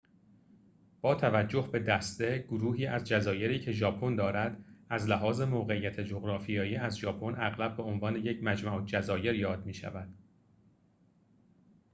با توجه به دسته/ گروهی از جزایری که ژاپن دارد، از لحاظ موقعیت جغرافیایی از ژاپن اغلب به عنوان یک «مجمع الجزایر» یاد می شود